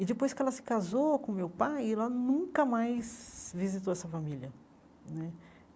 E depois que ela se casou com o meu pai, ela nunca mais visitou essa família né.